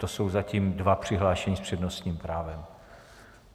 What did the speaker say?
To jsou zatím dva přihlášení s přednostním právem.